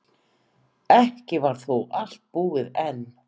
Ekki var þó allt búið enn.